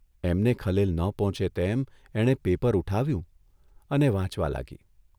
એમને ખલેલ ન પહોંચે તેમ એણે પેપર ઊઠાવ્યું અને વાંચવા લાગી.